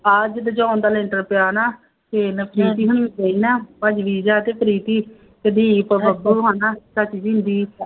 ਆਹ ਜਦੋਂ ਦਾ ਲੈਂਦਾ ਪਿਆ ਨਾ ਇਹਨੂੰ ਕੀ ਕੀ ਕਹਿੰਦਾ, ਭੱਜ ਗਈ ਜਾ ਕੇ ਪ੍ਰੀਤੀ, ਸਦੀਕ ਬੱਬੂ ਹੈ ਨਾ